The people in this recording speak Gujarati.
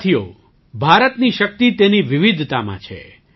સાથીઓ ભારતની શક્તિ તેની વિવિધતામાં છે